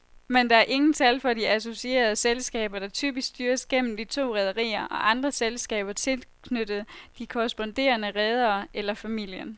Men der er ingen tal for de associerede selskaber, der typisk styres gennem de to rederier og andre selskaber tilknyttet de korresponderende redere eller familien.